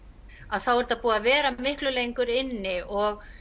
þá er þetta búið að vera miklu lengur inni og